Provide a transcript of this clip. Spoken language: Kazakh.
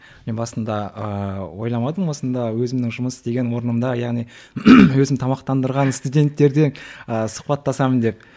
мен басында ыыы ойламадым осында өзімнің жұмыс істеген орнымда яғни өзім тамақтандырған студенттерден ы сұхбаттасамын деп